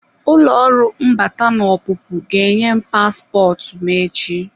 Ụlọ ọrụ mbata na ọpụpụ ga-enye m paspọtụ m echi.